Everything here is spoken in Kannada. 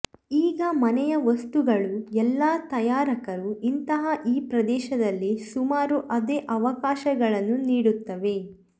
ಈಗ ಮನೆಯ ವಸ್ತುಗಳು ಎಲ್ಲಾ ತಯಾರಕರು ಇಂತಹ ಈ ಪ್ರದೇಶದಲ್ಲಿ ಸುಮಾರು ಅದೇ ಅವಕಾಶಗಳನ್ನು ನೀಡುತ್ತವೆ